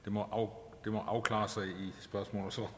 det må afklares